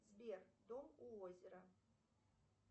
сбер дом у озера